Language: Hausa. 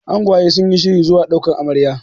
angwaye sun yi shirin zuwa daukar Amarya